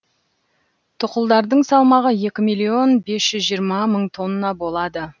тұқылдардың салмағы екі миллион бес жүз жиырма мың тонна болады